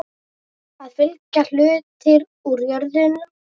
Þá fylgja hlutir úr jörðum.